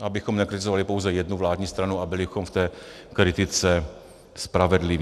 abychom nekritizovali pouze jednu vládní stranu a byli v té kritice spravedliví.